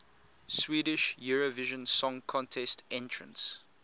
swedish eurovision song contest entrants